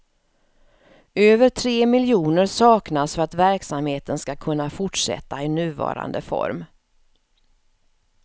Över tre miljoner saknas för att verksamheten ska kunna fortsätta i nuvarande form.